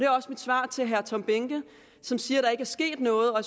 også mit svar til herre tom behnke som siger at der ikke er sket noget og at